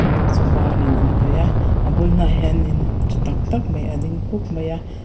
pawh chu a var in an hnawih a a bul hnaiah hian in tha tak tak mai a ding khup mai a.